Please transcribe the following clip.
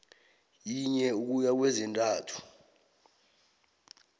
yinye ukuya kwezintathu